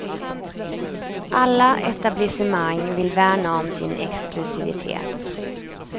Alla etablissemang vill värna om sin exklusivitet.